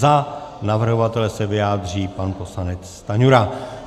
Za navrhovatele se vyjádří pan poslanec Stanjura.